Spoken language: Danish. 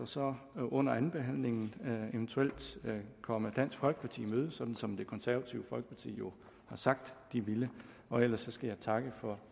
så under andenbehandlingen eventuelt komme dansk folkeparti i møde sådan som det konservative folkeparti jo har sagt de ville ellers skal jeg takke for